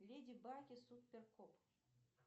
леди баг и супер кот